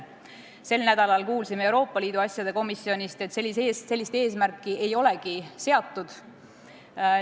Sel nädalal kuulsime Euroopa Liidu asjade komisjonist, et sellist eesmärki ei olegi seatud.